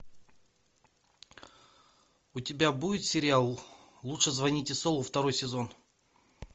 у тебя будет сериал лучше звоните солу второй сезон